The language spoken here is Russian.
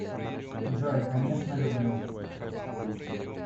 джой конечно люблю